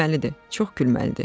Gülməlidir, çox gülməlidir.